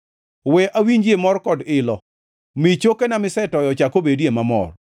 We awinjie mor kod ilo; mi chokena misetoyo ochak obedie mamor.